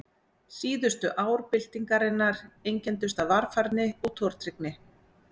Síðustu ár byltingarinnar einkenndust af varfærni og tortryggni.